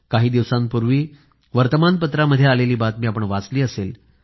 काही दिवसांपूर्वी वर्तमानपत्रांमध्ये आलेली बातमी आपण वाचली असेल